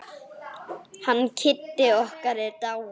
Hann Kiddi okkar er dáinn.